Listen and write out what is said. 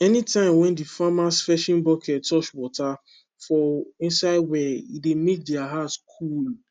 anytime wen de farmers fetching bucket touch water for inside well e dey make deir heart coole